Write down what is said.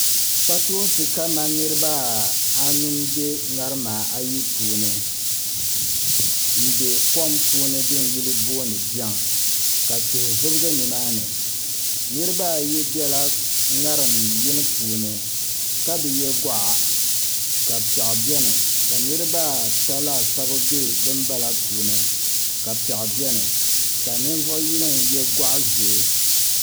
Kpatoonsi kamani niraba anu n bɛ ŋarima ayi puuni n bɛ kom puuni din yuli boondi biɛŋ ka tihi zibigi nimaani niraba ayi biɛla ŋarim yini puuni ka bi yɛ goɣa ka piɛɣu biɛni niraba ata laasabu bɛ din bala puuni ka piɛɣu biɛni ka ninvuɣu yino n yɛ goɣa ʒiɛ